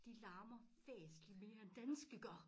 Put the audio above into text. De larmer væsentlig mere end danske gør